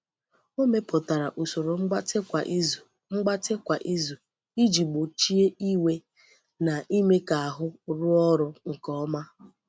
O mepụtara usoro mgbatị kwa izu mgbatị kwa izu iji gbochie iwe na ime ka ahụ rụọ ọrụ nke ọma.